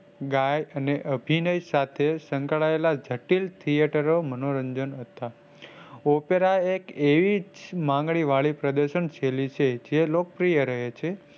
ગાયક અને અભિનય સાથે સંકળાયેલા જટિલ theatre મનોરંજન હતા. opera એક એવી માંગણીવાળી પ્રદર્શન શૈલી છે. જે લોકપ્રિય રહે છે.